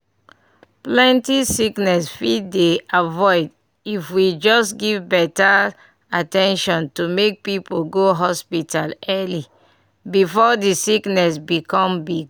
plenty sickness fit dey avoid if we just give better at ten tion to make people go hospital early before the sickness become big.